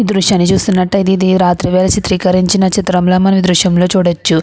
ఈ దృశ్యాన్ని చూస్తునటైతేఇది రాత్రి వేల చిత్రీకరించిన చిత్రంలా మనం ఈ దృశ్యంలో చూడచ్చు.